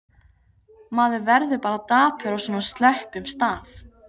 Maður verður bara dapur á svona slöppum stað.